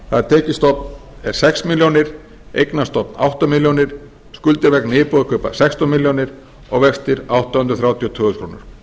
það er tekjustofn er sex milljónir eignastofn átta milljónir skuldir vegna íbúðarkaupa sextán milljónir og vextir átta hundruð þrjátíu og tvö þúsund krónur